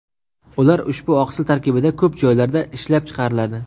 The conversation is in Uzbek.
Ular ushbu oqsil tarkibida ko‘p joylarda ishlab chiqariladi.